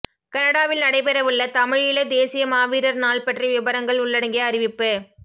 கனடாவில் நடைபெறவுள்ள தமிழீழத் தேசிய மாவீரர் நாள் பற்றி விபரங்கள் உள்ளடங்கிய அறிவிப்பு